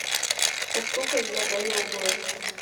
пошукай я дэниел блэйк